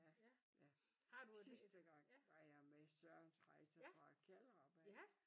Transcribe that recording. Ja ja sidste gang var jeg med Sørens Rejser fra Kjellerup af